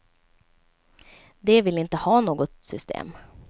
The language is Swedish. De vill inte ha något system.